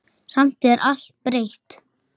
Samt er allt breytt.